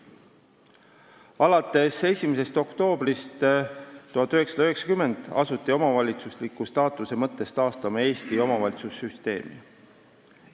Alates 1. oktoobrist 1990 asuti omavalitsusliku staatuse mõttes taastama Eesti omavalitsussüsteemi.